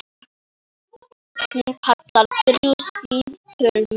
Hún kallar þrjú símtöl mörg.